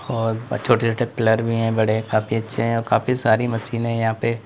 और छोटे छोटे पिलर भी है बड़े काफी अच्छे हैं और काफी सारी मशीनें है यहां पे--